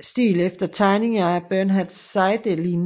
stil efter tegninger af Bernhard Seidelin